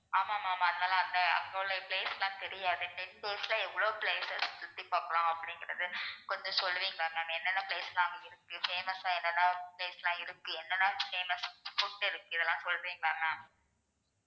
ஆமா ma'am அதனால அந்த அங்க உள்ள place எல்லாம் தெரியாது ten days ல எவ்வளவு places சுத்தி பாக்கலாம் அப்படிங்கறத கொஞ்சம் சொல்லுவீங்களா ma'am என்னென்ன place லாம் அங்க இருக்கு, famous ஆ என்னென்ன place லாம் இருக்கு, என்னென்ன famous food இருக்கு? இதெல்லாம் சொல்றீங்களா ma'am